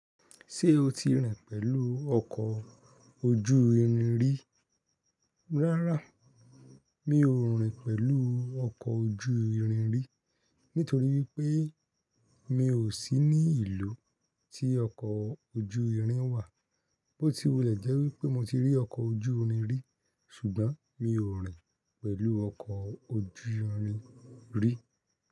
Ṣé o ti rìn pẹ̀lú ọkọ̀ ojú irin rí? Rárá, mi ò rìn pẹ̀lú ọkọ̀ ojú irin rí, nítorí wípé mi ò sí ní ìlú tí ọkọ̀ ojú irin wà. Bóti wu lè jẹ́ wípé mo ti rí ọkọ̀ ojú irin rí, ṣùgbọ́n mi ò rìn pẹ̀lú ọkọ̀ ojú irin rí.